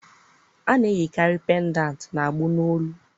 A na-eyikarị pendantị n'agbụ n'olu